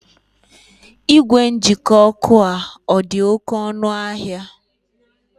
Ìgwè njikọ ọkụ a ọ dị oké ọnụ ahịa?